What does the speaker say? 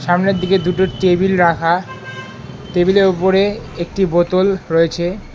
সামনের দিকে দুটো টেবিল রাখা টেবিলের উপরে একটি বোতল রয়েছে।